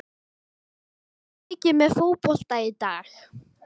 Fylgist þú mikið með fótbolta í dag?